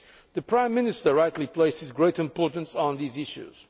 The Prime Minister rightly places great importance on these issues.